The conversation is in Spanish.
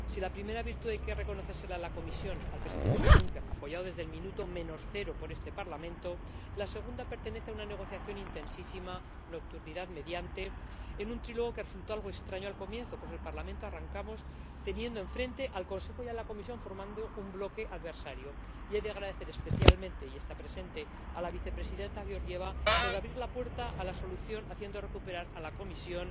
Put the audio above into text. Si la primera virtud hay que reconocérsela a la Comisión, al Presidente Juncker, apoyado desde el minuto menos cero por este Parlamento, la segunda pertenece a una negociación intensísima, nocturnidad mediante, en un trílogo que resultó algo extraño al comienzo, pues en el Parlamento arrancamos teniendo enfrente al Consejo y a la Comisión formando un bloque adversario, y he de agradecer especialmente y está presente a la vicepresidenta Georgieva, por abrir la puerta a la solución haciendo recuperar a la Comisión